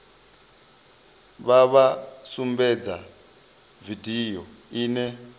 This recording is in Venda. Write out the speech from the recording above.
vha vha sumbedze vidio ine